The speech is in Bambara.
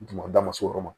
Duguma da ma s'o yɔrɔ ma